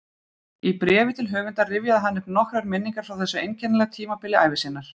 Í bréfi til höfundar rifjaði hann upp nokkrar minningar frá þessu einkennilega tímabili ævi sinnar